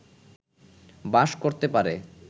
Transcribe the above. বাস করতে পারে